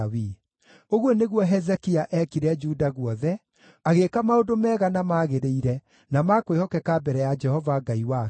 Ũguo nĩguo Hezekia eekire Juda guothe, agĩĩka maũndũ mega, na magĩrĩire na ma kwĩhokeka mbere ya Jehova Ngai wake.